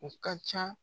U ka ca